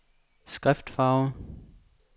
skriftfarve